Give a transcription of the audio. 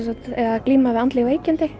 að glíma við andleg veikindi